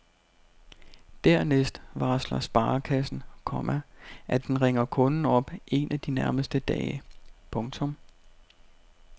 Dernæst varsler sparekassen, komma at den ringer kunden op en af de nærmeste dage. punktum